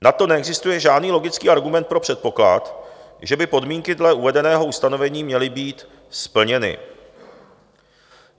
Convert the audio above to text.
Na to neexistuje žádný logický argument pro předpoklad, že by podmínky dle uvedeného ustanovení měly být splněny.